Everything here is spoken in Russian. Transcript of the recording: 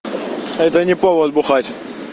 это не повод бухать